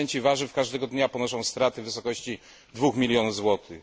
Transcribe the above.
Producenci warzyw każdego dnia ponoszą straty w wysokości 2 milionów złotych.